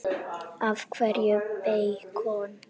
Af hverju beikon?